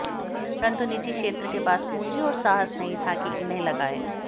परन्तु निजी क्षेत्र के पास पूंजी और साहस नहीं था कि इन्हें लगाए